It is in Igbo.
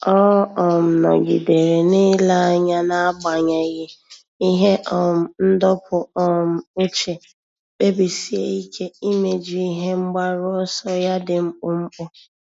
Ọ́ um nọ́gídèrè n’ílé anya n’ágbànyéghị́ ihe um ndọpụ um uche, kpebisie ike íméjú ihe mgbaru ọsọ ya dị mkpụmkpụ.